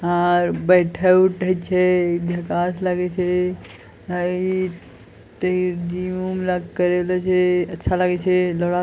आर बैठे-उठे छै झक्कास लागे छे। आय ते जिम - उम ला करेवला छै। अच्छा लगे छै ।